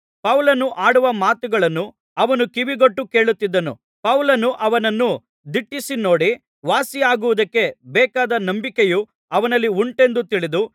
ಪೌಲನು ಆಡುವ ಮಾತುಗಳನ್ನು ಅವನು ಕಿವಿಗೊಟ್ಟು ಕೇಳುತ್ತಿದ್ದನು ಪೌಲನು ಅವನನ್ನು ದಿಟ್ಟಿಸಿ ನೋಡಿ ವಾಸಿಯಾಗುವುದಕ್ಕೆ ಬೇಕಾದ ನಂಬಿಕೆಯು ಅವನಲ್ಲಿ ಉಂಟೆಂದು ತಿಳಿದು